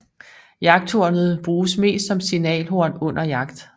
Jagthornet bruges mest som signalhorn under jagt